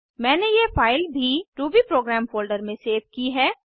मैंने यह फाइल भी रूबीप्रोग्राम फोल्डर में सेव की है